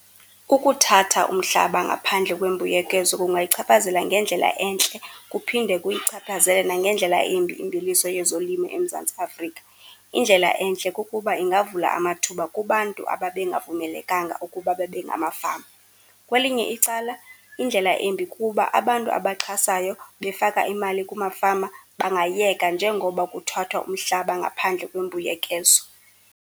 Ukuthatha umhlaba ngaphandle kwembuyekezo kungayichaphazela ngendlela entle kuphinde kuyichaphazele nangendlela embi imveliso yezolimo eMzantsi Afrika. Indlela entle kukuba ingavula amathuba kubantu ababengavumelekanga ukuba babe ngamafama. Kwelinye icala, indlela embi kukuba abantu abaxhasayo, befaka imali kumafama bangayeka njengoba kuthathwa umhlaba ngaphandle kwembuyekezo.